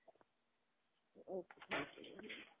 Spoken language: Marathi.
okay okay.